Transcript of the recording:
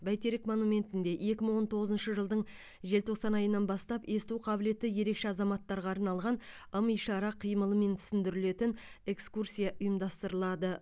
бәйтерек монументінде екі мың он тоғызыншы жылдың желтоқсан айынан бастап есту қабілеті ерекше азаматтарға арналған ым ишара қимылмен түсіндірілетін экскурсия ұйымдастырылады